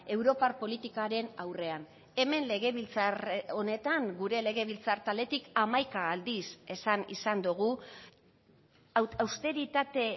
europar politikaren aurrean hemen legebiltzar honetan gure legebiltzar taldetik hamaika aldiz esan izan dugu austeritate